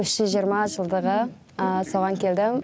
үш жүз жиырма жылдығы соған келдім